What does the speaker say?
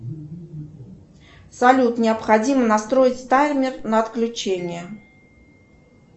салют необходимо настроить таймер на отключение